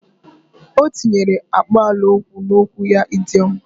O tinyere akpalaokwu n’okwu ya idoiom